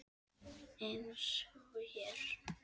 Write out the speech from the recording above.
Eins og hér.